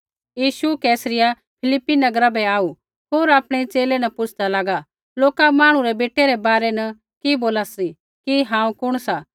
यीशु Caesarea Philippi नगरा बै आऊ होर आपणै च़ेले न पुछ़दा लागा लोका मांहणु रै बेटै रै बारै न कि बोला सी कि हांऊँ कुण सा